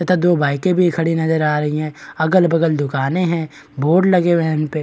तथा दो बाइकें भी खड़ी नजर आ रही हैं अगल-बगल दुकानें हैं बोर्ड लगे हुए हैं इन पे --